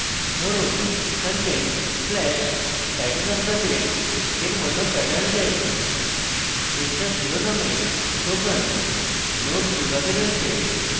ধরুন content/title of the page এর মত pattern চাই পৃষ্ঠার শিরোনামের token nodes বিভাগে রয়েছে